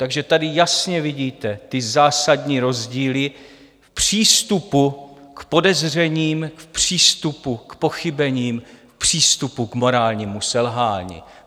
Takže tady jasně vidíte ty zásadní rozdíly v přístupu k podezřením, v přístupu k pochybením, v přístupu k morálnímu selhání.